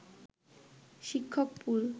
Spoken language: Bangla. শিক্ষক পুল